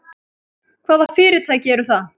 Hvaða fyrirtæki eru það?